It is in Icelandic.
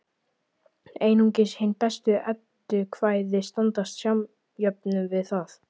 Einungis hin bestu eddukvæði standast samjöfnuð við það.